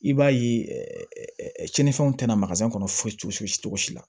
I b'a ye cɛninfɛnw tɛna kɔnɔ foyi foyi t'i la